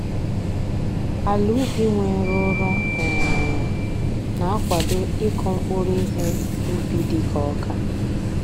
Ala ubi nwere ụrọ um na-akwado ịkụ mkpụrụ ihe ubi dịka ọka